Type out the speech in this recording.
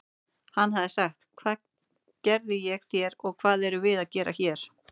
Hann hafi sagt: Hvað gerði ég þér og hvað erum við að gera hér?